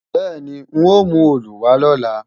Bẹ́ẹ̀ni, n ó mú òòlù wá lọ̀la